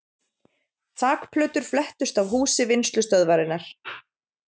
Þakplötur flettust af húsi Vinnslustöðvarinnar